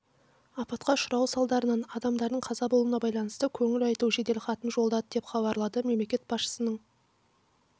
апатқа ұшырауы салдарынан адамдардың қаза болуына байланысты көңіл айту жеделхатын жолдады деп хабарлады мемлекет басшысының